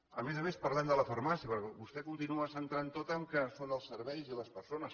a més a més parlem de la farmàcia perquè vostè ho continua centrant tot que són els serveis i les persones